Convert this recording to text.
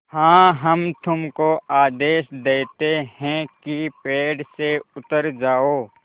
हाँ हम तुमको आदेश देते हैं कि पेड़ से उतर जाओ